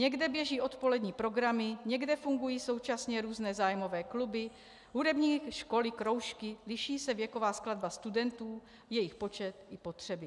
Někde běží odpolední programy, někde fungují současně různé zájmové kluby, hudební školy, kroužky, liší se věková skladba studentů, jejich počet i potřeby.